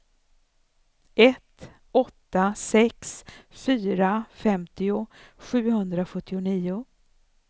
ett åtta sex fyra femtio sjuhundrasjuttionio